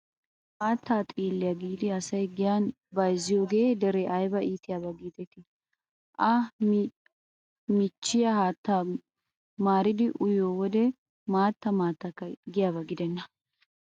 Maattaa xiilliyaa giidi asayi giyaan bayizziyooge dere ayiba iitiyaaba giideti. A michchiyaa haattan maaridi uyiyoo wode maatta maattakka giyaaba gidenna.